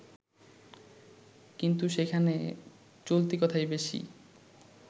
কিন্তু সেখানে চলতি কথাই বেশি